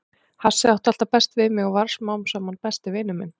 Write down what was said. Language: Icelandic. Hassið átti alltaf best við mig og varð smám saman besti vinur minn.